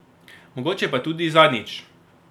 Mogoče pa tudi zadnjič.